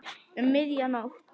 Um miðja nótt.